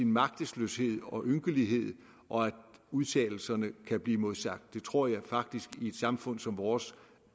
magtesløshed og ynkelighed og at udtalelserne kan blive modsagt det tror jeg faktisk i et samfund som vores